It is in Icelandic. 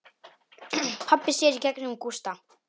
Pabbi sér í gegnum Gústa.